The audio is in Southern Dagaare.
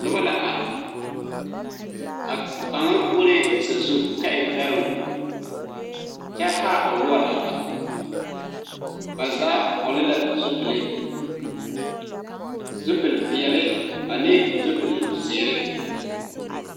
Noba la are, a kaŋ ɔre sazu kyɛ e bɛro kyɛ haa o nore a bare ba zaa vɔgle la zupelee ,zupele peɛle ane zupele ziiri.